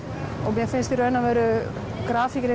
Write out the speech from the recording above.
mér finnst í raun og veru grafíkin